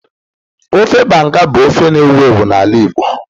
Ofe Banga bụ ofe na-ewu ewu n'ala Igbo